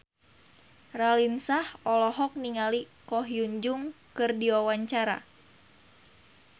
Raline Shah olohok ningali Ko Hyun Jung keur diwawancara